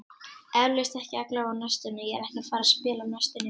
Eflaust, ekki allavega á næstunni, ég er ekki að fara að spila á næstunni.